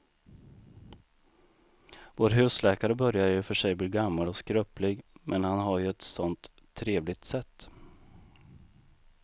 Vår husläkare börjar i och för sig bli gammal och skröplig, men han har ju ett sådant trevligt sätt!